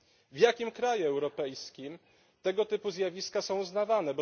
W jakim kraju europejskim tego typu zjawiska są uznawane?